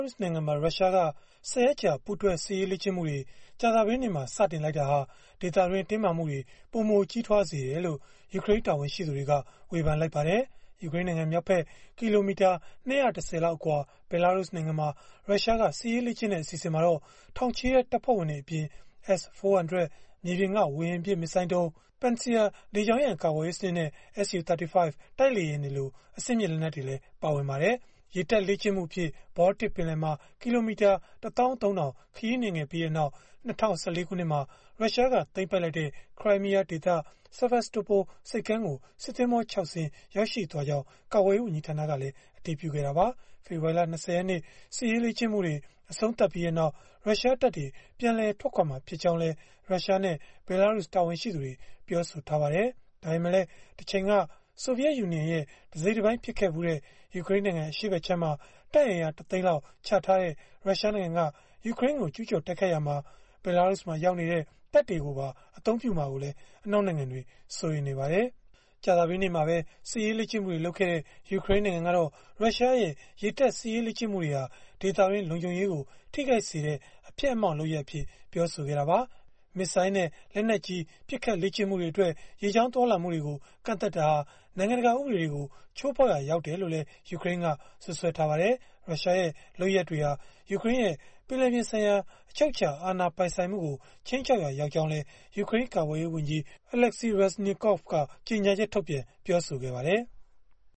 ရုစ်နိုင်ငံမှာ ရုရှားက ၁၀ ရက်ကြာ ပူးတွဲစစ်ရေးလေ့ကျင့်မှုတွေ ကြာသပတေးနေ့မှာ စတင်လိုက်တာဟာ ဒေသတွင်းမှာ တင်းမာမှုတွေ ပိုမိုကြီးထွားစေတယ်လို့ ယူကရိန်းတာဝန်ရှိသူတွေက ဝေဖန်လိုက်ကြပါတယ်။ ယူကရိန်းနိုင်ငံမြောက်ဖက် ကီလိုမီတာ ၂၁၀ လောက် အကွာ ဘဲလာရုစ်နိုင်ငံမှာ ရုရှားက စစ်ရေးလေ့ကျင့်တဲ့ အစီအစဉ်မှာတော့ ထောင်ချီတဲ့ တပ်ဖွဲ့ဝင်တွေအပြင်၊ S-400 မြေပြင်က ဝေဟင်ပစ် မစ်ဇိုင်းဒုံး၊ Pantsir လေကြောင်းရန်ကာကွယ်ရေး စနစ်နဲ့၊ Su-35 တိုက်လေယာဉ်တွေလို အဆင့်မြင့် လက်နက်တွေ ပါဝင်ပါတယ်။ ရေတပ်လေ့ကျင့်မှုအဖြစ် ဘောလတစ်ပင်လယ်မှာ ကီလိုမီတာ ၁၃၀၀၀ ခရီးနှင်ခဲ့ပြီးနောက် ၂၀၁၄ ခုနှစ်မှာ ရုရှားက သိမ်းပိုက်လိုက်တဲ့ ခရိုင်းမီးယားဒေသ Sevastopol ဆိပ်ကမ်းကို စစ်သင်္ဘော ၆ စင်း ရောက်ရှိသွားကြောင်း ရုရှားကာကွယ်ရေး ဝန်ကြီးဌာနကလည်း အတည်ပြုခဲ့တာပါ။ ဖေဖော်ဝါရီလ ၂၀ ရက်နေ့ စစ်ရေးလေ့ကျင့်မှုတွေ အဆုံးသတ်ပြီးနောက် ရုရှားတပ်တွေ ပြန်လည်ထွက်ခွာမှာ ဖြစ်ကြောင်းလည်း ရုရှားနဲ့ ဘဲလာရုစ် တာဝန်ရှိသူတွေ ပြောဆိုထားပါတယ်။ ဒါပေမဲ့လည်း တချိန်က ဆိုဗီယက်ယူနီယံရဲ့ တစိတ်တပိုင်း ဖြစ်ခဲ့ဖူးတဲ့ ယူကရိန်းနိုင်ငံ အရှေ့ဖက်ခြမ်းမှာ တပ်အင်အား ၁ သိန်းလောက် ချထားတဲ့ ရုရှားနိုင်ငံက ယူကရိန်းကို ကျုးကျော်တိုက်ခိုက်ရာမှာ ဘဲလာရုစ်မှာ ရောက်နေတဲ့ တပ်တွေကိုပါ အသုံးပြုမှာကိုလည်း အနောက်နိုင်ငံတွေက စိုးရိမ်နေကြပါတယ်။ ကြာသပတေးနေ့မှာပဲ စစ်ရေးလေ့ကျင့်မှုတွေ လုပ်ခဲ့တဲ့ ယူကရိန်းနိုင်ငံကတော့ ရုရှားရဲ့ ရေတပ်စစ်ရေးလေ့ကျင့်မှုတွေဟာ ဒေသတွင်း လုံခြုံရေးကို ထိခိုက်စေတဲ့ အဖျက်အမှောင့် လုပ်ရပ်အဖြစ် ပြောဆိုခဲ့တာပါ။ မစ်ဇိုင်းနဲ့ လက်နက်ကြီး ပစ်ခတ်လေ့ကျင့်မှုတွေအတွက် ရေကြောင်း သွားလာမှုတွေကို ကန့်သတ်တာဟာ နိုင်ငံတကာ ဥပဒေတွေကို ချိုးဖောက်ရာ ရောက်တယ်လို့လည်း ယူကရိန်းက စွပ်စွဲခဲ့ပါတယ်။ ရုရှားရဲ့ လုပ်ရပ်တွေဟာ ယူကရိန်းရဲ့ ပင်လယ်ပြင်ဆိုင်ရာ အချုပ်အခြာ အာဏာပိုင်ဆိုင်မှုကို ခြိမ်းခြောက်ရာ ရောက်ကြောင်းလည်း ယူကရိန်း ကာကွယ်ရေးဝန်ကြီး Oleksii Reznikov က ကြေညာချက်ထုတ်ပြန် ပြောဆိုခဲ့ပါတယ်။